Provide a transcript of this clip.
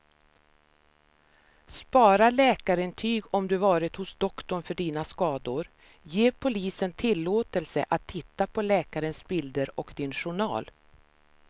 Spara läkarintyg om du varit hos doktorn för dina skador, ge polisen tillåtelse att titta på läkarens bilder och din journal.